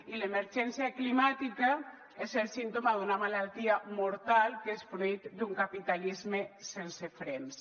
i l’emergència climàtica és el símptoma d’una malaltia mortal que és fruit d’un capitalisme sense frens